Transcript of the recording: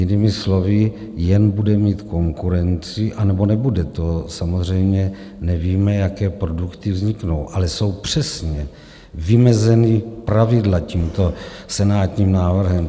Jinými slovy, jen bude mít konkurenci - anebo nebude, to samozřejmě nevíme, jaké produkty vzniknou, ale jsou přesně vymezena pravidla tímto senátním návrhem.